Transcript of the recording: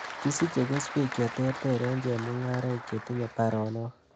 Kisiche keswek cheterter en chemungaraik chetinye baronok